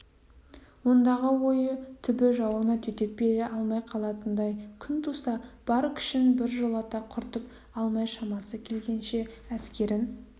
ондағы ойы түбі жауына төтеп бере алмай қалатындай күн туса бар күшін біржолата құртып алмай шамасы келгенше әскерін